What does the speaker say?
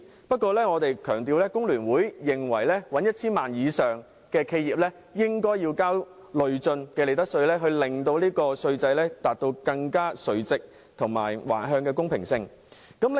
不過，我要強調，工聯會認為營業額達 1,000 萬元以上的企業應該要支付累進利得稅，令稅制垂直和橫向均更見公平。